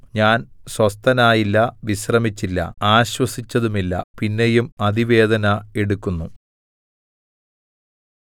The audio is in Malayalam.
ഞാൻ സ്വസ്ഥനായില്ല വിശ്രമിച്ചില്ല ആശ്വസിച്ചതുമില്ല പിന്നെയും അതിവേദന എടുക്കുന്നു